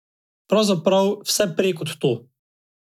Pravzaprav vse prej kot to.